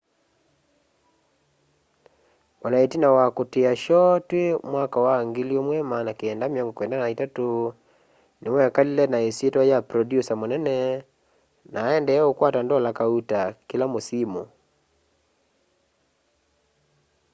o na itina wa kutia shoo twi 1993 niwekalile na isyitwa ya producer munene na aendeea ukwata ndola kauta kîla mûsimû